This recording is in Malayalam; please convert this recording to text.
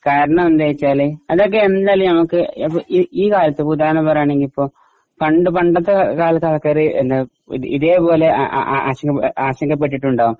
കാരണമെന്തെന്നുവച്ചാല് അതൊക്കെ എന്തായാലും നമുക്ക് ഈ കാലത്തു ഉദാഹരണം പറയുകയാണെങ്കിൽ ഇപ്പൊ പണ്ട് പണ്ടത്തെ കാലത്തെ ആൾക്കാര് ഇതേപോലെ ആശങ്കപ്പെട്ടിട്ടുണ്ടാവും.